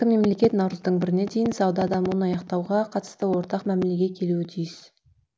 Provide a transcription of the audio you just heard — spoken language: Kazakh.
мемлекет наурыздың біріне дейін сауда дауын аяқтауға қатысты ортақ мәмілеге келуі тиіс